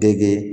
Dege